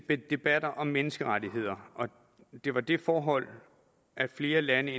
debatter om menneskerettigheder og det var det forhold at flere lande